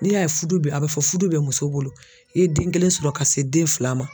N'i y'a ye fudu bɛ a bɛ fɔ fudu bɛ muso bolo i ye den kelen sɔrɔ ka se den fila ma.